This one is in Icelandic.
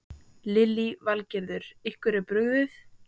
Lillý Valgerður: Ykkur er brugðið?